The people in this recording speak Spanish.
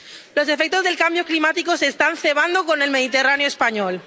Los efectos del cambio climático se están cebando con el Mediterráneo español.